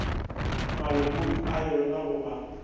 malokong a yona go ba